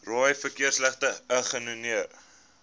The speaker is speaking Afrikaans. rooi verkeersligte ignoreer